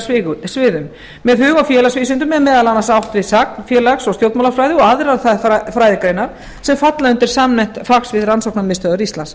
hug og félagsvísindum er meðal annars átt við sagn félags og stjórnmálafræði og aðrar þær fræðigreinar sem falla undir samnefnt fagsvið rannsóknarmiðstöðvar íslands